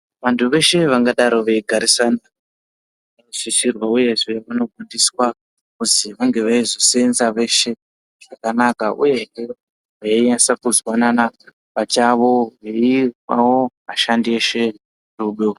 Vantu veshe vangadaro veigarisana vanosisirwa uyezve kufundiswa kuzi vange veizoseenza veshe zvakanaka uyezve veinyasa kuzwanana pachavo veipawo vashandi eshe rudo.